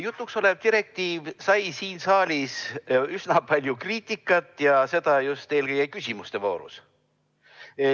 Jutuks olev direktiiv sai siin saalis üsna palju kriitikat ja just eelkõige küsimuste voorus.